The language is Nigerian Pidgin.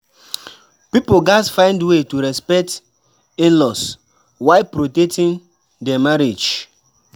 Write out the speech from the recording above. Pipo gatz find way to respect in-laws while protecting their marriage.